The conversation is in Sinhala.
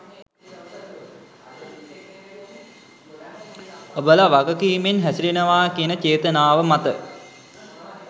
ඔබල වගකීමෙන් හැසිරෙනවා කියන චේතනාව මත.